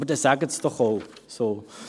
Aber dann sagen Sie es doch auch so.